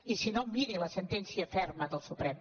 i si no miri la sentència ferma del suprem